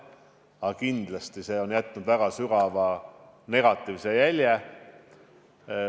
Aga kindlasti on toimunu jätnud väga sügava negatiivse jälje.